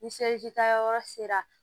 Ni seli tayɔrɔ sera